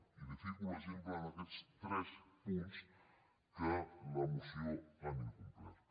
i li fico l’exemple en aquests tres punts de la moció que han incomplert